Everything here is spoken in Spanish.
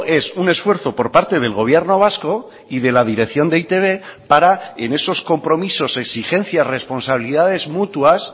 es un esfuerzo por parte del gobierno vasco y de la dirección de e i te be para en esos compromisos exigencias responsabilidades mutuas